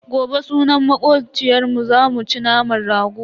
Gobe sunan makociyarmu zamu ci naman rago.